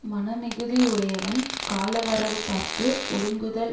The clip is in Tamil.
மன மிகுதி யுடையவன் காலவரவு பார்த்து ஒடுங்குதல்